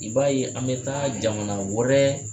I b'a ye an bɛ taa jamana wɛrɛ